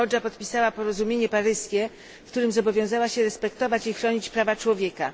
Kambodża podpisała Porozumienie Paryskie, w którym zobowiązała się respektować i chronić prawa człowieka.